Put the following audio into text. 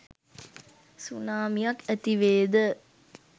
සුනාමියක් ඇති වේද